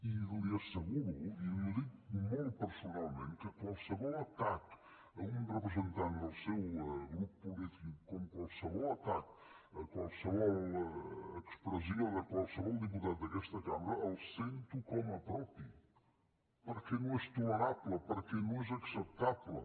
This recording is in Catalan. i li asseguro i li ho dic molt personalment que qualsevol atac a un representant del seu grup polític com qualsevol atac a qualsevol expressió de qualsevol diputat d’aquesta cambra el sento com a propi perquè no és tolerable perquè no és acceptable